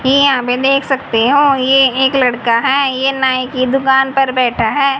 यहां पर देख सकते हो ये एक लड़का है। ये नाय के दुकान पर बैठा है।